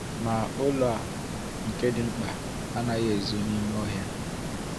Ma ụlọ a, nke dị mkpa, anaghị ezo n’ime ọhịa.